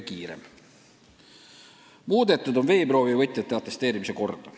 Muudetud on veeproovi võtjate atesteerimise korda.